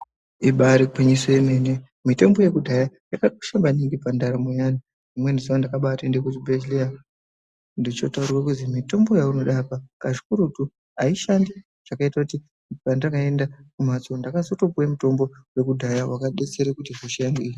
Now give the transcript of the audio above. Imba iri gwinyiso yemene, mitombo yekudhaya yakakosha maningi pandaramo yeantu. Rimweni zuva ndakabaenda kuchibhedhlera ndechotaurirwa kuti mitombo yaunoda apa pakurutu aishandi, zvakaita kuti pandakaenda kumhatso ndakazopiwa mutombo wekudhaya wakadetsera kuti hosha yangu i.